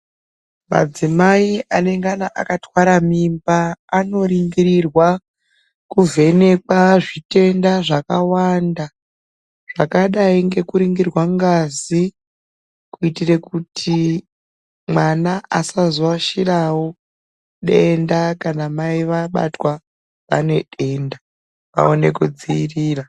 Madzimai anenga akatwara mimba anoningirwa kuvhenekwa zvitenda zvakavanda zvakadai nekuringirwa ngazi kuitira kuti mwana asazoashiravo denda kana mai vabatwa vaine denda vaone kudziirira.